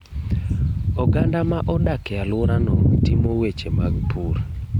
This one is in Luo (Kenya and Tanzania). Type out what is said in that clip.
Oganda modak e aluora no timo weche mag pur.